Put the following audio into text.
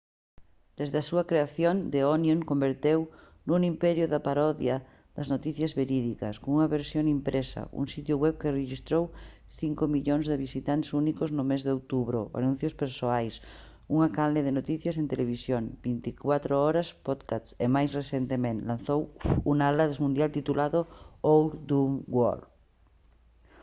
desde a súa creación the onion converteuse nun imperio da parodia das noticias verídicas cunha versión impresa un sitio web que rexistrou 5 000 000 de visitantes únicos no mes de outubro anuncios persoais unha canle de noticias en televisión 24 horas podcasts e máis recentemente lanzou un atlas mundial titulado «our dumb world»